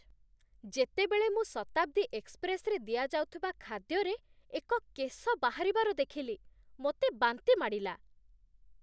ଯେତେବେଳେ ମୁଁ ଶତାବ୍ଦୀ ଏକ୍ସପ୍ରେସ୍ରେ ଦିଆଯାଉଥିବା ଖାଦ୍ୟରେ ଏକ କେଶ ବାହାରିବାର ଦେଖିଲି, ମୋତେ ବାନ୍ତି ମାଡ଼ିଲା